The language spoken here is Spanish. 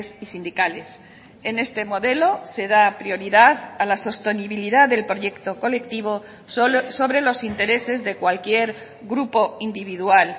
y sindicales en este modelo se da prioridad a la sostenibilidad del proyecto colectivo sobre los intereses de cualquier grupo individual